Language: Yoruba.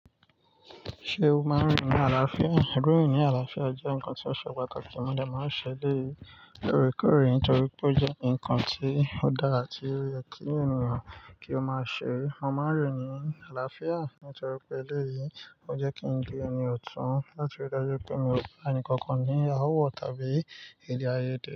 Ṣé o máa ń rìn ní àlàáfíà? Rírin ní àlàáfíà jẹ́ nǹkan tí ó ṣe pàtàkì. Mo dà máa ń ṣe eleyii lóòrèkóòrè nítorí pé ó jẹ́ nǹkan tí ó dára ti oyẹ kí ènìyàn kí ó máa ṣe. Mo máa ń rìn ní àlàáfíà nítorí pé eleyìí, ó jẹ́ kí ń di ẹni ọ̀tún láti rí dájú pé mi ò bá ẹni kankan ní áwọ̀ tàbí èdè ààyè de.